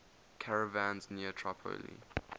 caravans near tripoli